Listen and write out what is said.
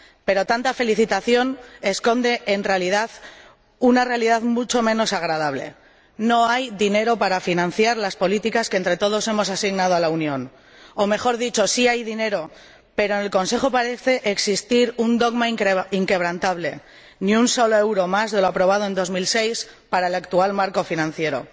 Pero tanta felicitación esconde, en el fondo, una realidad mucho menos agradable no hay dinero para financiar las políticas que entre todos hemos asignado a la Unión o, mejor dicho, sí hay dinero, pero en el Consejo parece existir un dogma inquebrantable ni un solo euro más de lo aprobado en 2006 para el actual marco financiero.